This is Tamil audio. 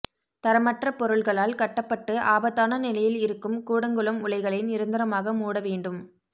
தரமற்ற பொருள்களால் கட்டப்பட்டு ஆபத்தான நிலையில் இருக்கும் கூடங்குளம் உலைகளை நிரந்தரமாக மூட வேண்டும்